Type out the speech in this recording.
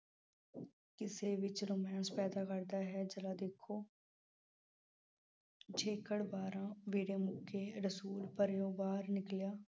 ਕਿਸੇ ਵਿੱਚ romance ਪੈਦਾ ਕਰਦਾ ਹੈ। ਜ਼ਰਾ ਦੇਖੋ ਬਾਰਾਂ ਮੁੱਕੇ ਰਸੂਲ ਪਰਿਉਂ ਬਾਹਰ ਨਿਕਲਿਆ।